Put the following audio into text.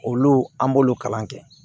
Olu an b'olu kalan kɛ